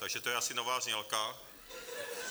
Takže to je asi nová znělka.